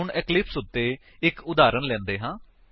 ਹੁਣ ਇਕਲਿਪਸ ਵਿੱਚ ਇੱਕ ਉਦਾਹਰਨ ਲੈਂਦੇ ਹਾਂ